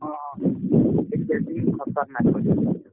ହଁ ସେ କେଜି ବି ଖତରନାକ।